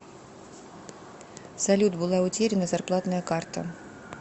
салют была утеряна зарплатная карта